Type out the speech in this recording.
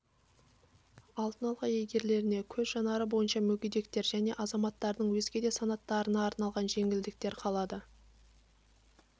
алтын алқа иегерлеріне көз жанары бойынша мүгедектер және азаматтардың өзге де санаттарына арналған жеңілдіктер қалады